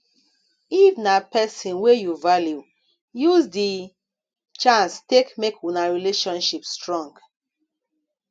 if na person wey you value use di chance take make una relationship strong